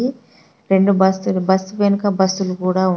ఇది రెండు బస్సు లు బస్ వెనక బస్సు లు కూడా ఉన్ --